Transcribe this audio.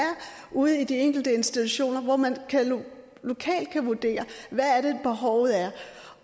ude i de enkelte institutioner hvor man lokalt kan vurdere hvad det er behovet er